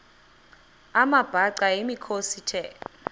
amabhaca yimikhosi the